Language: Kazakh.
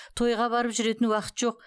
тойға барып жүретін уақыт жоқ